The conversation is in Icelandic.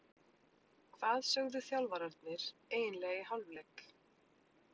Hvað sögðu þjálfararnir eiginlega í hálfleik?